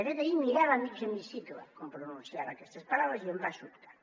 de fet ahir mirava mig hemicicle quan pronunciava aquestes paraules i em va sobtar